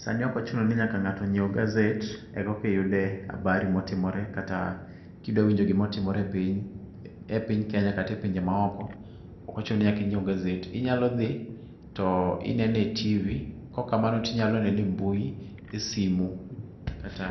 Sani ok ochuno ni nyaka ng'ato nyiew gaset kokiyudo habari motimore kata kidwa winjo gima otimore e piny Kenya kata epinje maoko. Ok ochuno ni nyaka inyiew gaset, onyalo dhi to minene e TV,kaok amano to inyalo nene embui, esimu kata